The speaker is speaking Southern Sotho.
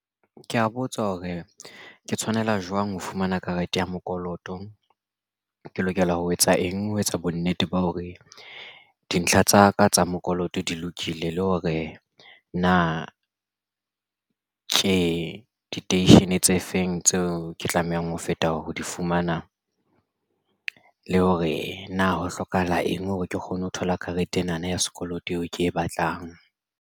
Ke ya botsa hore ke tshwanela jwang ho fumana karete ya mokoloto. Ke lokela ho etsa eng ho etsa bonnete ba hore dintlha tsa ka tsa mokoloto di lokile le hore na ke diteishene tse feng tseo ke tlamehang ho feta ho di fumana le hore na ho hlokahala eng hore ke kgone ho thola karete ena na ya sekoloto eo ke e batlang.